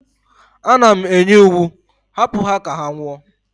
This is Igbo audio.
Ana m enye iwu, hapu ha ka ha nwụọ!